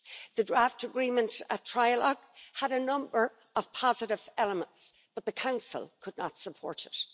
The draft agreement at trilogue had a number of positive elements, but the Council could not support it.